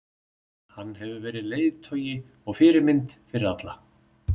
Hann hefur verið leiðtogi og fyrirmynd fyrir alla.